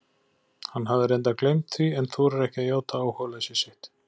Hann hafði reyndar gleymt því en þorir ekki að játa áhugaleysi sitt.